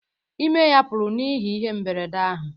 Ime ya pụrụ n’ihi ihe mberede ahụ